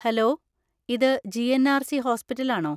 Hello! ഇത് GNRC. Hospital ആണോ?